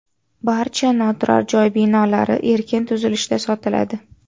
Barcha noturar joy binolari erkin tuzilishda sotiladi.